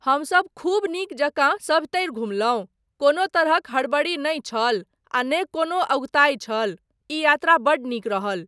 हमसब खूब नीक जकाँ सभतरि घुमलहुँ, कोनो तरहक हड़बड़ी नहि छल आ नहि कोनो अगुताई छल, ई यात्रा बड्ड नीक रहल।